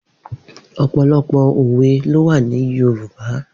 Opọlọpọ ówé lówà ni yórùbá